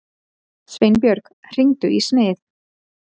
Sveinbjörg, hringdu í Smið.